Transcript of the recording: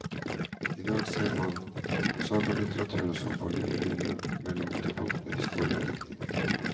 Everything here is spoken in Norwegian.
I dag ser man sagalitteraturen som på en linje mellom ytterpunktene historie og diktning.